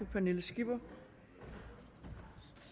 pernille skipper